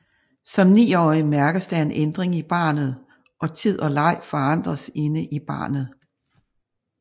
Som 9 årig mærkes der en ændring i barnet og tid og leg forandres inde i barnet